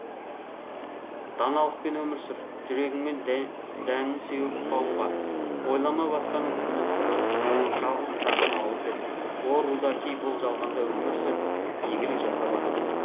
даналықпен өмір сүр жүрегіңмен дәнін сеуіп қауымға ойлама басқаның күні тәуір жалғыз саған ауыр деп о рудаки бұл жалғанда өмір сүр игілік жасап адамға